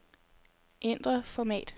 Ændr format.